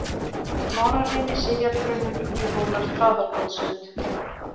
Smárarimi, Sifjarbrunnur, Ugluhólar, Traðarkotssund